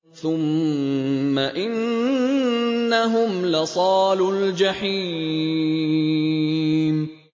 ثُمَّ إِنَّهُمْ لَصَالُو الْجَحِيمِ